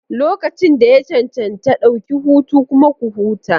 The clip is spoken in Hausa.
Lokacin da ya cancanta, ɗauki hutu kuma ku huta.